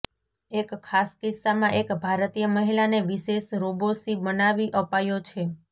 એક ખાસ કિસ્સામાં એક ભારતીય મહિલાને વિશેષ રોબો સી બનાવી અપાયો છે